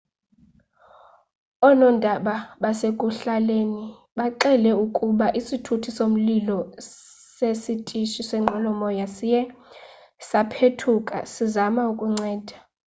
oonondaba basekuhlaleni bxele ukuba isithuthi somlilo sesitishi senqwelomoya siye saphethuka sisazama ukunceda